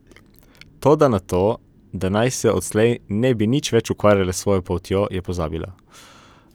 Toda na to, da naj se odslej ne bi nič več ukvarjale s svojo poltjo, je pozabila.